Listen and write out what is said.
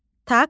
Taksi.